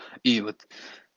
и вот